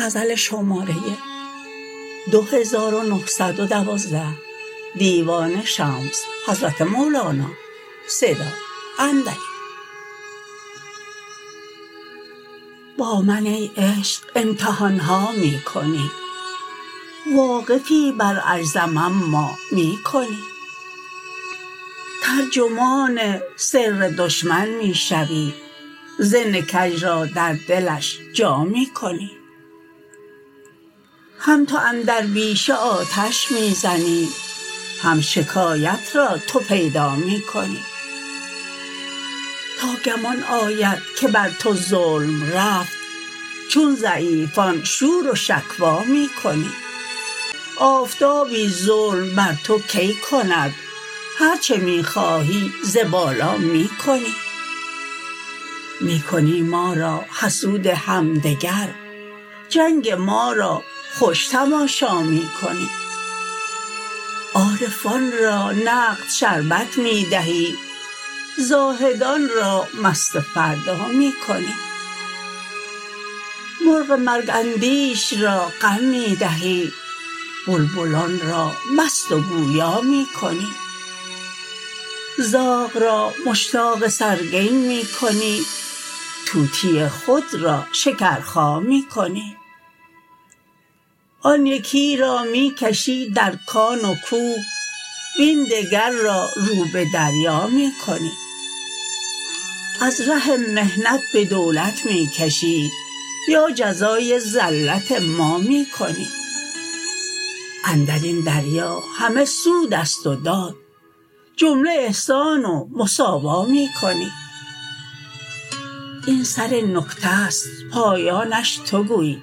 با من ای عشق امتحان ها می کنی واقفی بر عجزم اما می کنی ترجمان سر دشمن می شوی ظن کژ را در دلش جا می کنی هم تو اندر بیشه آتش می زنی هم شکایت را تو پیدا می کنی تا گمان آید که بر تو ظلم رفت چون ضعیفان شور و شکوی می کنی آفتابی ظلم بر تو کی کند هر چه می خواهی ز بالا می کنی می کنی ما را حسود همدگر جنگ ما را خوش تماشا می کنی عارفان را نقد شربت می دهی زاهدان را مست فردا می کنی مرغ مرگ اندیش را غم می دهی بلبلان را مست و گویا می کنی زاغ را مشتاق سرگین می کنی طوطی خود را شکرخا می کنی آن یکی را می کشی در کان و کوه وین دگر را رو به دریا می کنی از ره محنت به دولت می کشی یا جزای زلت ما می کنی اندر این دریا همه سود است و داد جمله احسان و مواسا می کنی این سر نکته است پایانش تو گوی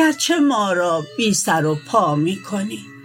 گرچه ما را بی سر و پا می کنی